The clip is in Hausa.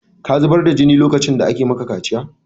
Ka zubar da jini lokacin da aka maka kaciya!